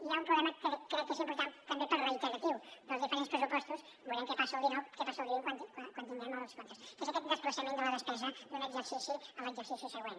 i hi ha un problema que crec que és important també per reiteratiu dels diferents pressupostos veurem què passa al vint quan tinguem els comptes que és aquest desplaçament de la despesa d’un exercici a l’exercici següent